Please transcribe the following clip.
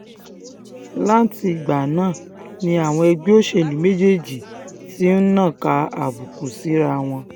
látìgbà náà ni àwọn ẹgbẹ́ òṣèlú méjèèjì ti ń nàka àbùkù síraa wọn